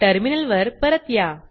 टर्मिनलवर परत या